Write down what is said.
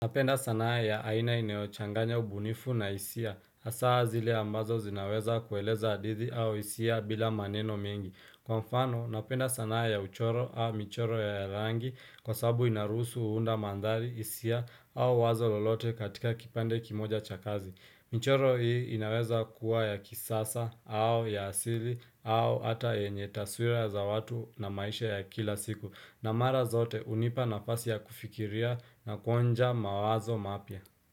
Napenda sanaa ya aina inayochanganya ubunifu na isia. Asaa zile ambazo zinaweza kueleza adithi au isia bila maneno mengi. Kwa mfano, napenda sanaa ya uchoro au michoro ya rangi kwa sabu inarusu uhunda mandhali isia au wazo lolote katika kipande kimoja chakazi. Michoro hii inaweza kuwa ya kisasa au ya asili au ata enye taswira za watu na maisha ya kila siku. Na mara zote unipa nafasi ya kufikiria na kuonja mawazo mapia.